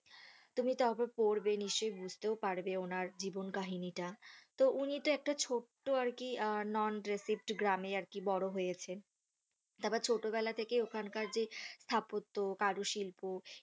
তুমি তারপর পড়বে নিশ্চই বুঝতেও পারবে ওনার জীবন কাহিনীটা তো উনি তো একটা ছোট্ট আরকি non adhesive গ্রাম এ বোরো হয়েছেন তারপর ছোট বেলা থেকে ওখান যে স্থাপত্য কাজ শিল্প